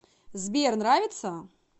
сбер нравится